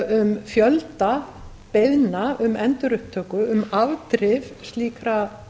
um fjölda beiðna um endurupptöku um afdrif slíkra